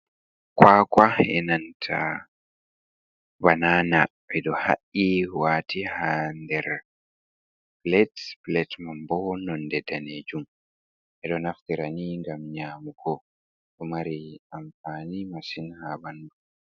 Kwakwa e'nanta banana ɓedo ha’i waati ha nder plate. Plate man bo nonde danejum. Ɓeɗo naftira ni ngam nyamugo. Ɗo mari amfani masin ha ɓandu.